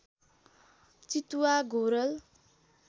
चितुवा घोरल